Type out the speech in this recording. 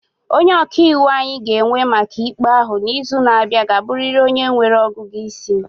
Onye ọka iwu anyị ga-ewe maka ikpe ahụ n'izu na-abịa ga-abụrịrị onye nwere ọgụgụ isi.